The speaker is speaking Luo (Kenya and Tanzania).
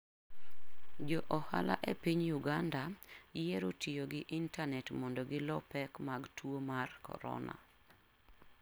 Jo ohala e piny Uganda yiero tiyo gi intanet mondo gilo pek mag tuo mar corona.